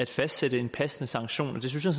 fastsætte en passende sanktion og det synes jeg